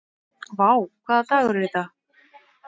Vár, hvaða dagur er í dag?